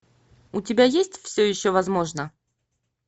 у тебя есть все еще возможно